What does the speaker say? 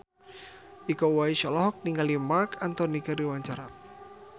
Iko Uwais olohok ningali Marc Anthony keur diwawancara